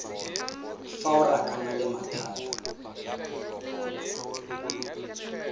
fa o rakana le mathata